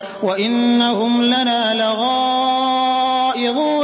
وَإِنَّهُمْ لَنَا لَغَائِظُونَ